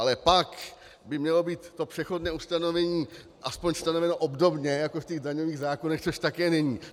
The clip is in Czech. Ale pak by mělo být to přechodné ustanovení aspoň stanoveno obdobně jako v těch daňových zákonech, což také není.